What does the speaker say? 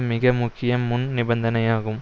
மிக முக்கிய முன் நிபந்தனையாகும்